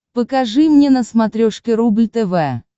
покажи мне на смотрешке рубль тв